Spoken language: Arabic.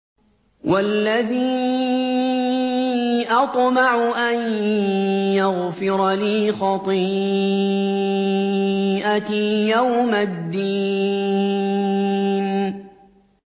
وَالَّذِي أَطْمَعُ أَن يَغْفِرَ لِي خَطِيئَتِي يَوْمَ الدِّينِ